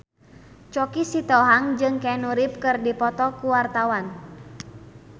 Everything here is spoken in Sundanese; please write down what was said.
Choky Sitohang jeung Keanu Reeves keur dipoto ku wartawan